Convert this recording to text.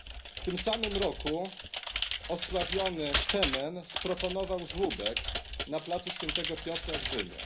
W tym samym roku osławiony FEMEN sprofanował żłóbek na placu Świętego Piotra w Rzymie.